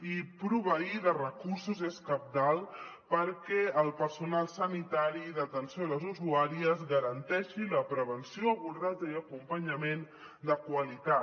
i proveir de recursos és cabdal perquè el personal sanitari d’atenció a les usuàries garanteixi la prevenció abordatge i acompanyament de qualitat